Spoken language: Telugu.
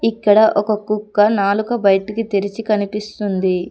ఇక్కడ ఒక కుక్క నాలుక బయటికి తెరిచి కనిపిస్తుంది.